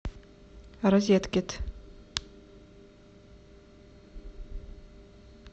розеткед